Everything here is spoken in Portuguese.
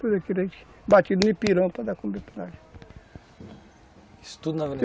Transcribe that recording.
Tudo aquilo a gente batida no pirão para dar comida para nós. Isso tudo na